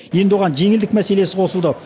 енді оған жеңілдік мәселесі қосылды